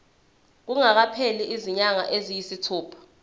kungakapheli izinyanga eziyisithupha